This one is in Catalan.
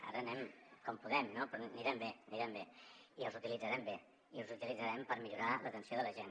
ara anem com podem no però anirem bé anirem bé i els utilitzarem bé i els utilitzarem per millorar l’atenció de la gent